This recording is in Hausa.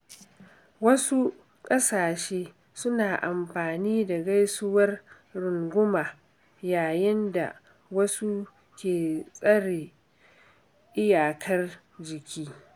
Wasu ƙasashe suna amfani da gaisuwar runguma yayin da wasu ke tsare iyakar jiki.